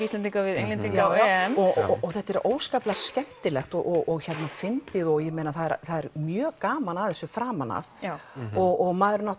Íslendinga við Englendinga á EM og þetta er óskaplega skemmtilegt og fyndið og það er mjög gaman að þessu framan af já og maður